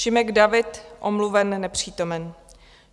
Šimek David: Omluven, nepřítomen.